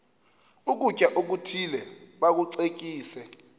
ukutya okuthile bakucekise